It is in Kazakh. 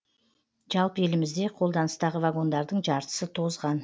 жалпы елімізде қолданыстағы вагондардың жартысы тозған